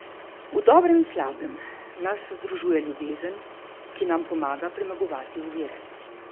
V dobrem in slabem nas združuje ljubezen, ki nam pomaga premagovati ovire.